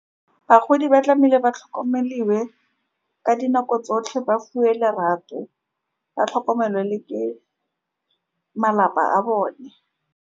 Bagodi ba tlamehile ba tlhokomelwe ka dinako tsotlhe, ba fuwe lerato ba tlhokomelwe le ke malapa a bone.